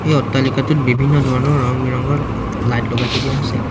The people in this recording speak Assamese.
এই অট্টালিকাটোত বিভিন্ন ধৰণৰ ৰং বিৰঙৰ লাইট লগাই থৈ দিয়া হৈছে।